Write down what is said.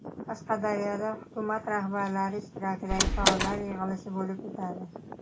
Qashqadaryoda hukumat rahbarlari ishtirokidagi faollar yig‘ilishi bo‘lib o‘tadi.